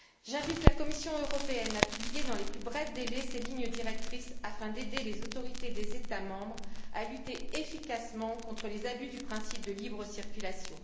J'invite la Commission européenne à publier dans les plus brefs délais ses lignes directrices afin d'aider les autorités des États membres à lutter efficacement contre les abus du principe de libre circulation.